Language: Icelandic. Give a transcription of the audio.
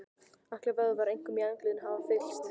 Allir vöðvar, einkum í andliti, hafa fyllst.